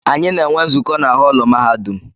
Anyị na-enwe nzukọ na họọlụ mahadum.